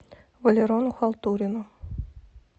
валерону халтурину